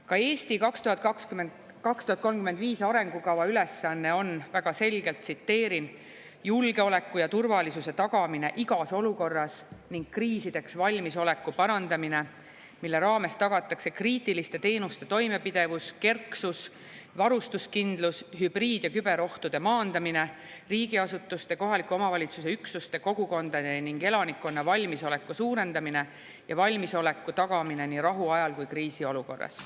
Ka "Eesti 2035" arengukava ülesanne on väga selgelt, tsiteerin, julgeoleku ja turvalisuse tagamine igas olukorras ning kriisideks valmisoleku parandamine, mille raames tagatakse kriitiliste teenuste toimepidevus, kerksus, varustuskindlus, hübriid‑ ja küberohtude maandamine, riigiasutuste, kohaliku omavalitsuse üksuste, kogukondade ning elanikkonna valmisoleku suurendamine ja valmisoleku tagamine nii rahu ajal kui ka kriisiolukorras.